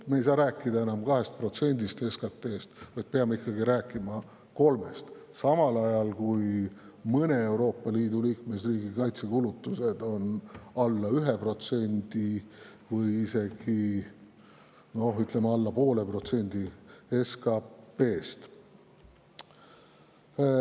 Me ei saa rääkida enam 2%‑st SKT‑st, vaid peame ikkagi rääkima 3%‑st, samal ajal kui mõne Euroopa Liidu liikmesriigi kaitsekulutused on alla 1% või isegi alla 0,5% SKT-st.